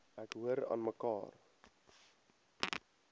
ek hoor aanmekaar